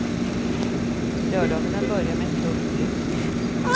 Lördagarna börjar med ett tungt lyft.